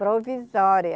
Provisória.